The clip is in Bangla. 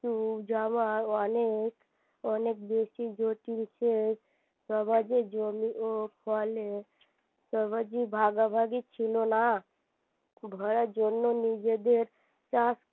জামা অনেক অনেক বেশি জটিল সবার যে জমি ও ফলের সবার যে ভাগাভাগি ছিল না ভরার জন্য নিজেদের